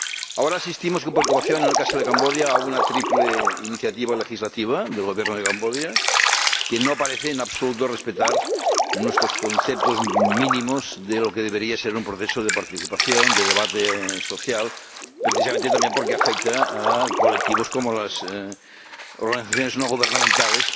Ahora asistimos con preocupación, en el caso de Camboya, a una triple iniciativa legislativa del Gobierno de Camboya que no parece respetar en absoluto nuestros criterios mínimos de lo que debería ser un proceso de participación, de debate social, precisamente también porque afecta a colectivos como las organizaciones no gubernamentales